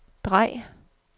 drej